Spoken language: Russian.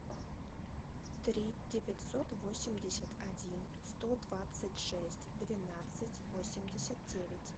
три девятьсот восемьдесят один сто двадцать шесть двенадцать восемьдесят девять